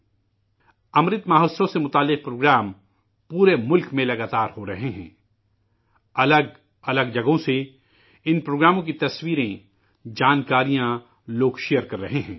'امرت مہوتسو' سے منسلک پروگرام پورے ملک میں مسلسل ہو رہے ہیں، الگ الگ جگہوں سے ان پروگراموں کی تصویریں، جانکاریاں لوگ شیئر کر رہے ہیں